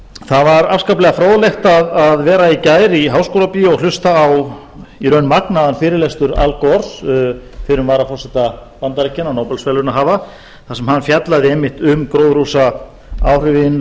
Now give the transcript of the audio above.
það var afskaplega fróðlegt að vera í gær í háskólabíói og hlusta á í raun magnaðan fyrirlestur al gore fyrrum varaforseta bandaríkjanna og nóbelsverðlaunahafa þar sem hann fjallar einmitt um gróðurhúsaáhrifin